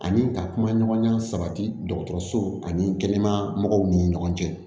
Ani ka kuma ɲɔgɔnya sabati dɔgɔtɔrɔsow ani kɛnɛya mɔgɔw ni ɲɔgɔn cɛ